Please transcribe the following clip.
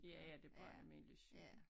Ja ja det bare almindelig cykel